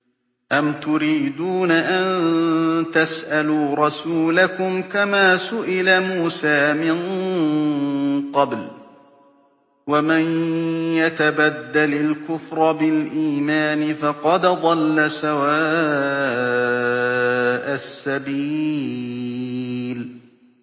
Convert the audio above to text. أَمْ تُرِيدُونَ أَن تَسْأَلُوا رَسُولَكُمْ كَمَا سُئِلَ مُوسَىٰ مِن قَبْلُ ۗ وَمَن يَتَبَدَّلِ الْكُفْرَ بِالْإِيمَانِ فَقَدْ ضَلَّ سَوَاءَ السَّبِيلِ